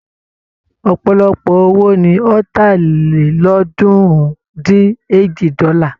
Ọ̀pọ̀lọpọ̀ owó ni Ọ̀tàlélọ́ọ̀ọ́dúnrún-dín-èjì dọ́là.